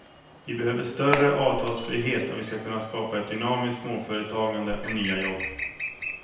Vi behöver större avtalsfrihet om vi ska kunna skapa ett dynamiskt småföretagande och nya jobb.